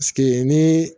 ni